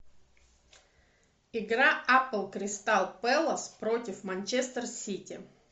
игра апл кристал пэлас против манчестер сити